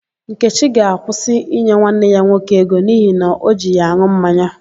Nkechi ga-akwụsị inye nwanne ya nwoke ego n'ihi na o ji ya an̄ụ mmanya.